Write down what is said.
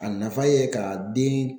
A nafa ye ka den